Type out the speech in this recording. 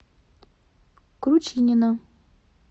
кручинина